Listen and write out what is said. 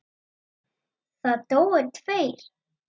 Það dóu tveir.